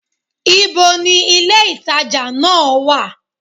Ibo ni ilé-ìtàjà náà wà?